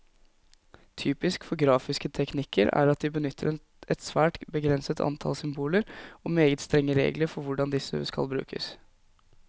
Typisk for grafiske teknikker er at de benytter et svært begrenset antall symboler, og meget strenge regler for hvordan disse skal brukes.